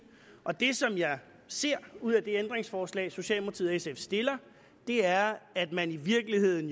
og det som jeg ser ud af det ændringsforslag socialdemokratiet og sf stiller er at man jo i virkeligheden